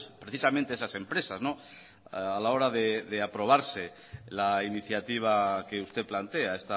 precisamente esas empresas a la hora de aprobarse la iniciativa que usted plantea